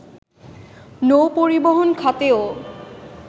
নৌ পরিবহন খাতেও